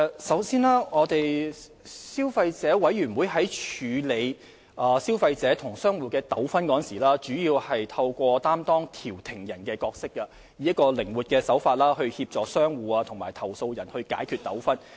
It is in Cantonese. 首先，消委會在處理消費者與商戶的糾紛時，主要透過擔當調停人的角色，以靈活手法協助商戶與投訴人解決糾紛。